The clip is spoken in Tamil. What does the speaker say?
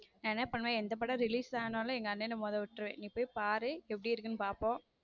நான் என்ன பண்ணுவ எந்த படம் release ஆனாலும் எங்க அண்ணனை முதலில் விட்டுருவேன் நீ போய் பாரு எப்படி இருக்குன்னு பாப்போம்.